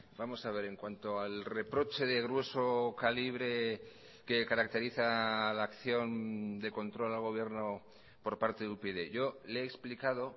vamos a ver en cuanto al reproche de grueso calibre que caracteriza a la acción de control al gobierno por parte de upyd yo le he explicado